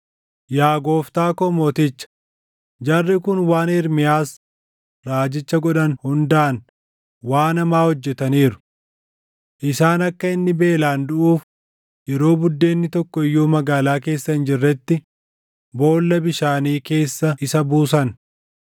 “Yaa gooftaa koo mooticha, jarri kun waan Ermiyaas raajicha godhan hundaan waan hamaa hojjetaniiru. Isaan akka inni beelaan duʼuuf yeroo buddeenni tokko iyyuu magaalaa keessa hin jirretti boolla bishaanii keessa isa buusan.”